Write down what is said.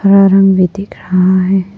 हरा रंग भी दिख रहा है।